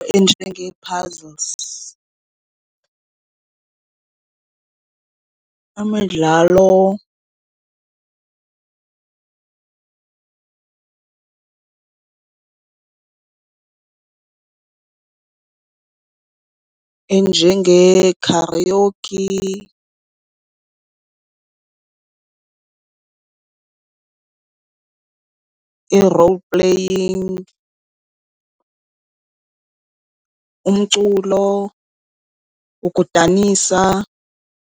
Enjengee-puzzles, imidlalo enjengee-karaokee , ii-role playing , umculo, ukudanisa.